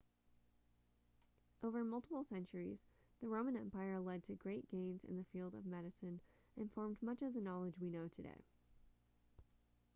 over multiple centuries the roman empire led to great gains in the field of medicine and formed much of the knowledge we know today